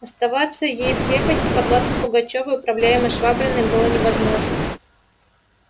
оставаться ей в крепости подвластной пугачёву и управляемой швабриным было невозможно